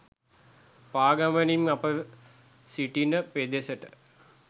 පාගමනින් ම අප සිටින පෙදෙසට